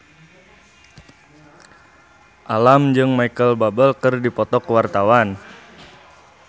Alam jeung Micheal Bubble keur dipoto ku wartawan